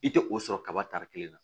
I tɛ o sɔrɔ kaba tari kelen na